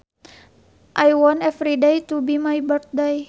I want everyday to be my birthday